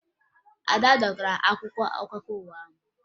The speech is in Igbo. Ada dọkara akwụkwọ akụkọ ụwa ahụ